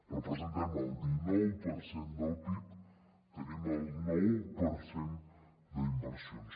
representem el dinou per cent del pib tenim el nou per cent d’inversions